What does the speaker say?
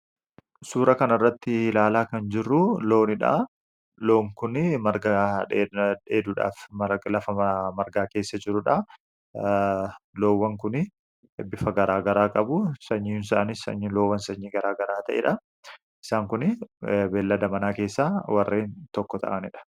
Suuraa kanarratti ilaalaa kan jirru loonidha. Loon kun marga dheeduudhaaf lafa margaa keessa jirudha. Loowwan kun bifa garaagaraa qabu. Sanyiin isaaniis sanyii loon garaagaraa ta'edha. Isaan kun beeylada manaa keessaa tokko ta'anidha.